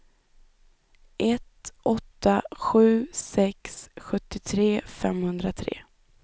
ett åtta sju sex sjuttiotre femhundratre